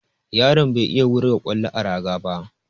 Yaron bai iya wurga ƙwallo a raga ba.